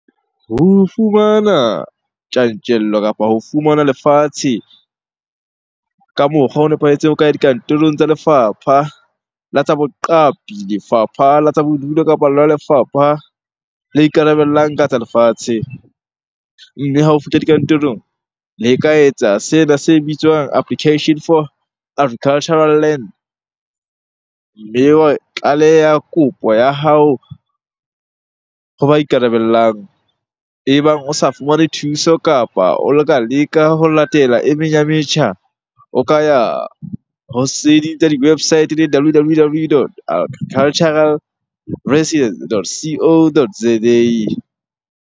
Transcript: Ho fumana tjantjello kapa ho fumana lefatshe ka mokgwa o nepahetseng ho ka ya dikantorong tsa lefapha la tsa boqapi, lefapha la tsa bodulo, kapa lona lefapha la ikarabellang ka tsa lefatshe. Mme ha o fihla dikantorong, le ka etsa sena se bitswang application for agricultural land. Mme wa tlaleha kopo ya hao ho ba ikarabellang. E bang o sa fumane thuso kapa o leka ho latela e meng ya metjha o ka ya ho tse ding tsa di-website eleng W_W_W dot agricultural dot C_O dot Z_A.